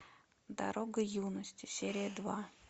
дорога юности серия два